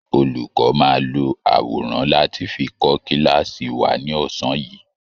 Olùkọ́ máa lo àwọrán láti fi kọ́ kíláàsì wa ní ọ̀sán yìí